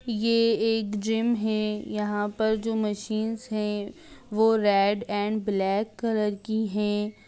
ये एक जिम है यहां पर जो मशीनस है वह रेड एंड ब्लैक कलर की है--